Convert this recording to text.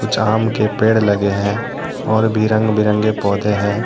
कुछ आम के पेड़ लगे हैं । और भी रंग बिरंगे पौधे हैं।